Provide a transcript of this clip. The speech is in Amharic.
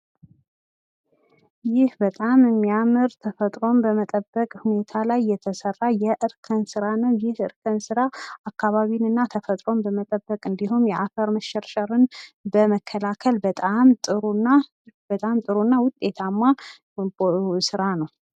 ይህ በጣም የሚያምር ተጸፈጥሮን በመጠበቅ ሁኔታ ላይ የተሰራ የእርከን ስራ ነው። ይህ እርከን ስራ አካባቢንና ተፈጥሮን በመጠበቅ እንዲሁም የአፈር መሸርሸርን በመከላከል በጣም ጥሩና ውጤታማ ስራ ነው።